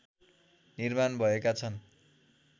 निर्माण भएका छन्